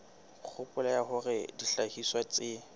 kgopolo ya hore dihlahiswa tse